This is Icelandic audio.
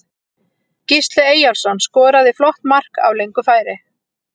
Gísli Eyjólfsson skoraði flott mark af löngu færi.